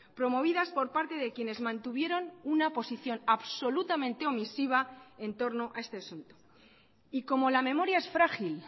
promovidas por parte de quienes mantuvieron una posición absolutamente omisiva en torno a este asunto y como la memoria es frágil